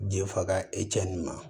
Den fa ka e cɛ nin ma